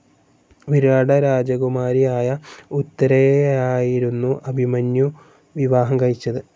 വിരാട രാജകുമാരിയായ ഉത്തരയെയായിരുന്നു അഭിമന്യു വിവാഹം കഴിച്ചത്.